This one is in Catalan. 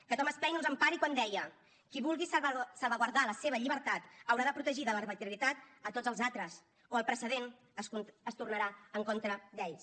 que thomas paine us empari quan deia qui vulgui salvaguardar la seva llibertat haurà de protegir de l’arbitrarietat a tots els altres o el precedent es tornarà en contra d’ells